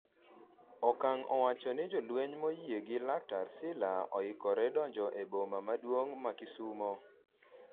Okang'o owacho ni jolweny moyie gi laktar Sila oikore donjo e boma maduong' ma Kisumo